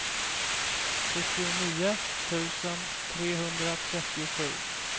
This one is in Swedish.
fyrtionio tusen trehundratrettiosju